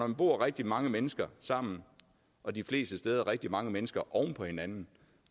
vi bor rigtig mange mennesker sammen og de fleste steder rigtig mange mennesker oven på hinanden